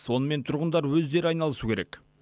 онымен тұрғындар өздері айналысуы керек